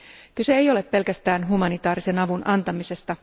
Kyse ei ole pelkästään humanitaarisen avun antamisesta.